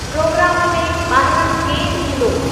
Programme में ॿाहिरां केरु ईंदो ?